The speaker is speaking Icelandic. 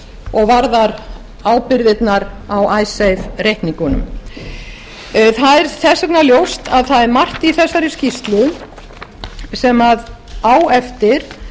og varðar ábyrgðirnar á icesave reikningunum þess vegna er ljóst að það er margt í þessari skýrslu sem á eftir